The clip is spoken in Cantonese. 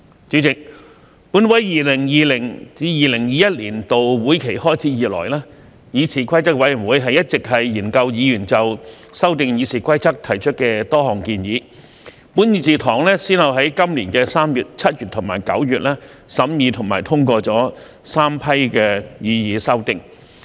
主席，本會 2020-2021 年度會期開始以來，議事規則委員會一直研究議員就修訂《議事規則》提出的多項建議，本議事堂先後於今年3月、7月及9月審議和通過3批擬議修訂。